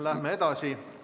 Läheme edasi.